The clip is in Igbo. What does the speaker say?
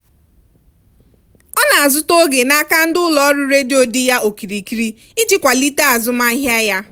ọ na-azụta oge n'aka ndị ụlọ ọrụ redio dị ya okirikiri iji kwalite azụmahịa ya.